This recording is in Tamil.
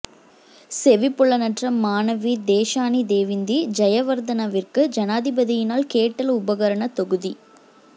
செவிப்புலனற்ற மாணவி தேஷானி தேவிந்தி ஜயவர்தனவிற்கு ஜனாதிபதியினால் கேட்டல் உபகரணத் தொகுதி